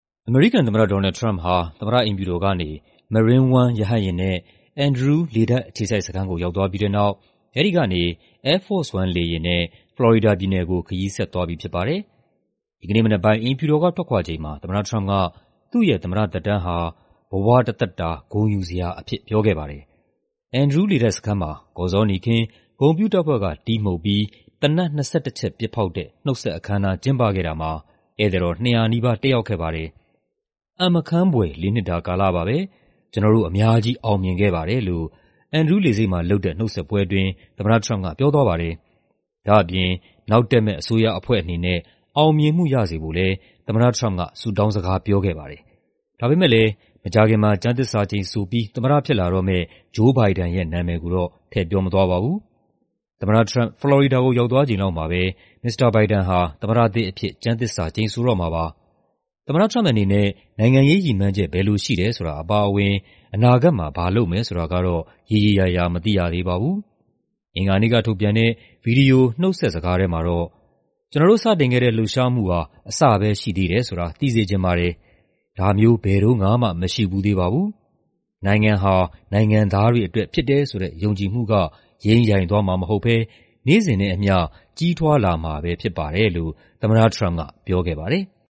အမေရိကန်သမ္မတ ဒေါ်နယ်လ်ဒ် ထရမ့်ပ်ဟာ သမ္မတအိမ်ဖြူတော်ကနေ Marine One ရဟတ်ယာဉ်နဲ့ Andrew လေတပ်အခြေစိုက်စခန်းကို ရောက်သွားပြီးတဲ့နောက် အဲဒီကနေ Air Force One လေယာဉ်နဲ့ ဖလော်ရီဒါပြည်နယ်ကို ခရီးဆက်သွားပြီဖြစ်ပါတယ်။ ဒီကနေ့မနက်ပိုင်း အိမ်ဖြူတော်ကထွက်ခွာချိန်မှာ သမ္မတထရမ့်ပ်က သူ့ရဲ့သမ္မတသက်တမ်းဟာ "ဘဝတသက်တာ ဂုဏ်ယူစရာ" အဖြစ် ပြောခဲ့ပါတယ်။ Andrew လေတပ်စခန်းမှာ ကော်ဇောနီခင်း၊ ဂုဏ်ပြုတပ်ဖွဲ့က တီးမှုတ်ပြီး သေနတ် ၂၁ ချက် ပစ်ဖောက်တဲ့ နှုတ်ဆက်အခမ်းအနား ကျင်းပခဲ့တာမှာ ဧည့်သည်တော် ၂၀၀ နီးပါး တက်ရောက်ခဲ့ပါတယ်။ "အံ့မခန်းဖွယ် လေးနှစ်တာကာလပါပဲ။ ကျနော်တို့ အများကြီး အောင်မြင်ခဲ့ပါတယ်" လို့ Andrew လေဆိပ်မှာလုပ်တဲ့ နှုတ်ဆက်ပွဲအတွင်း သမ္မတထရမ့်ပ်က ပြောသွားပါတယ်။ ဒါ့အပြင် နောက်တက်မယ့် အစိုးရအဖွဲ့အနေနဲ့ အောင်မြင်မှုရစေဖို့လည်း သမ္မတထရမ့်ပ်က ဆုတောင်းစကားပြောခဲ့ပါတယ်။ ဒါပေမယ့်လည်း မကြာခင် ကျမ်းသစ္စာကျိန်ဆိုပြီး သမ္မတဖြစ်လာတော့မယ့် Joe Biden နာမည်ကိုတော့ ထည့်ပြောမသွားပါဘူး။ သမ္မထထရမ့်ပ် ဖလော်ရီဒါကို ရောက်သွားချိန်လောက်မှာပဲ မစ္စတာဘိုင်ဒန်ဟာ သမ္မတသစ်အဖြစ် ကျမ်းသစ္စာကျိန်ဆိုတော့မှာပါ။ သမ္မတထရမ့်ပ်အနေနဲ့ နိုင်ငံရေးရည်မှန်းချက် ဘယ်လိုရှိတယ်ဆိုတာ အပါအဝင် အနာဂတ်မှာ ဘာလုပ်မယ်ဆိုတာကတော့ ရေရေရာရာ မသိရသေးပါဘူး။ အင်္ဂါနေ့ကထုတ်ပြန်တဲ့ ဗွီဒီယို နှုတ်ဆက်စကားထဲမှာတော့ "ကျနော်တို့စတင်ခဲ့တဲ့ လှုပ်ရှားမှုဟာ အစပဲရှိသေးတယ်ဆိုတာ သိစေချင်ပါတယ်။ ဒါမျိုး ဘယ်တုံးကမှ မရှိဖူးသေးပါဘူး။ နိုင်ငံဟာ နိုင်ငံသားတွေအတွက်ဖြစ်တယ်ဆိုတဲ့ ယုံကြည်မှုက ယိမ်းယိုင်သွားမှာမဟုတ်ဘဲ နေ့စဉ်နဲ့အမ ျှ ကြီးထွားလာမှာပဲဖြစ်ပါတယ်" လို့ သမ္မတထရမ့်ပ်က ပြောခဲ့ပါတယ်။